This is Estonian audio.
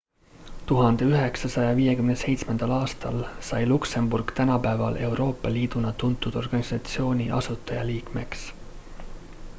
1957 aastal sai luksemburg tänapäeval euroopa liiduna tuntud organisatsiooni asutajaliikmeks